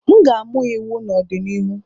M ga-amụ iwu n'ọdịnihu.